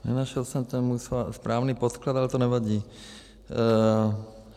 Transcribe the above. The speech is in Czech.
Nenašel jsem ten můj správný podklad, ale to nevadí.